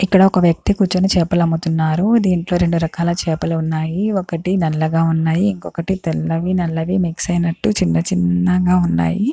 ఇక్కడ ఒక వ్యక్తి కూర్చుని చేపలమ్ముతున్నారు. దీంట్లో రెండు రకాల చేపలు ఉన్నాయి.ఒకటి నల్లగా ఉన్నాయి.ఇంకోటి నల్లవి తెల్లవి మిక్స్ అయినట్టు చిన్న చిన్నగా ఉన్నాయి.